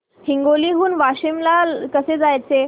हिंगोली हून वाशीम ला कसे जायचे